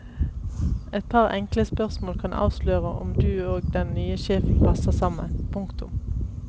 Et par enkle spørsmål kan avsløre om du og den nye sjefen passer sammen. punktum